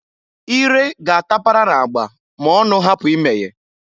Ire ga-atapara na-agba ma-ọnụ hapụ imeye.